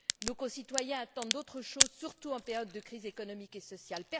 Nos concitoyens attendent d'autres choses, surtout en période de crise économique et sociale.